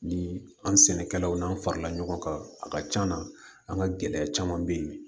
Ni an sɛnɛkɛlaw n'an farala ɲɔgɔn kan a ka c'an na an ka gɛlɛya caman be yen bi